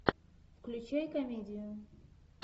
включай комедию